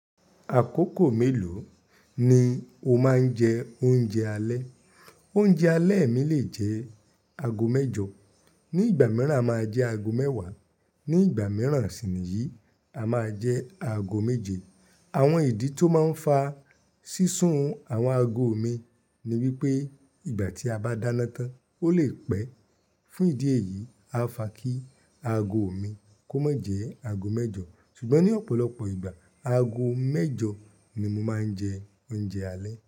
Àkókò mélòó ni o máa ń jẹ oúnjẹ alẹ́? Oúnjẹ alẹ́ mi lè jẹ́ ago mẹ́jọ, ní ìgbà mìíràn a máa jẹ ago mẹ́wàá, ní ìgbà mìíràn sì ni yìí, a máa jẹ ago méje. Àwọn ìdí tó máa ń fa sísun àwọn ago mi ni wípé ìgbà tí a bá dáná tán, ó lè pẹ́. Fún ìdí èyí, a fa kí ago mi kó má jẹ́ ago mẹ́jọ. Ṣùgbọ́n ní ọ̀pọ̀lọpọ̀ ìgbà, ago mẹ́jọ ni mo máa ń jẹ oúnjẹ alẹ́.